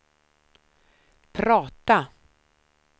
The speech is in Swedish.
prata